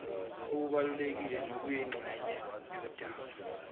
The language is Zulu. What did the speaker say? obubalulekile nobuyingxenye yodaba